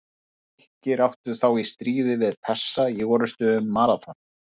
Grikkir áttu þá í stríði við Persa í orrustunni um Maraþon.